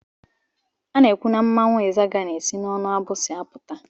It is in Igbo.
Ana ekwụ na mmanwụ izaga na-esi n'onu abusi apụta.